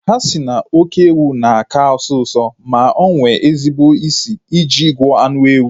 A sị na oké ewu na-aka asọ usọ ma nwee ezigbo isi I ji gwọọ anụ ewu